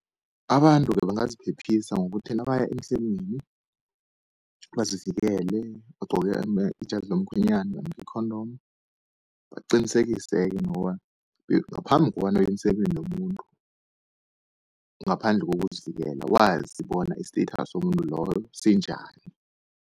Abantu-ke bangaziphephisa ngokuthi nabaya emsemeni, bazivikele bagcoke ijazi lomkhwenyana namkha i-condom. Baqinisekise-ke nokobana ngaphambi kobana uye emsemeni nomuntu ngaphandle kokuzivikela, wazi bona i-status somuntu loyo sinjani.